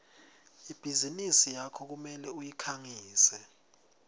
ibhizinisi yakho kumele uyikhangise